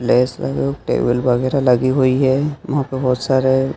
Lights लगी हुए। एक टेबल वगेरह लगी हुई है। यहां पे बहोत सारे--